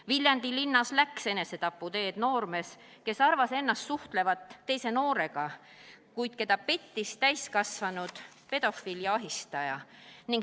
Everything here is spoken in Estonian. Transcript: Viljandi linnas läks enesetaputeed noormees, kes arvas ennast suhtlevat teise noorega, kuid keda pettis täiskasvanud pedofiil ja ahistaja.